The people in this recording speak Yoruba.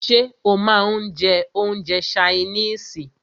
Ṣé o máà ń jẹ́ oúnjẹ ṣaínìisì?